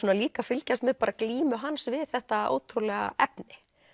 líka að fylgjast með glímu hans við þetta ótrúlega efni